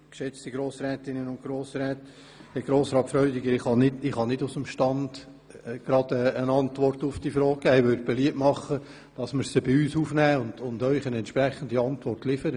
Herr Grossrat Freudiger, ich kann Ihre Frage nicht aus dem Stand beantworten, mache aber beliebt, dass wir diese aufnehmen und Ihnen eine entsprechende Antwort liefern.